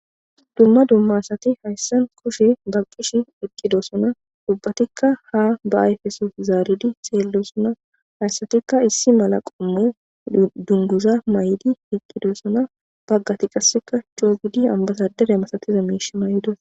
Dumma dummaasati hayssan kushe baqqish iqqidosona dubbatikka ha ba ayfeso zaaridi xeellosona hayssatikka issi mala qommu dunguza may'idi iqqidosona baggati qasseka choo gudi ambasadere masateza miishe may'idos.